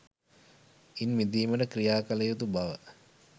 ඉන් මිදීමට ක්‍රියා කළ යුතු බව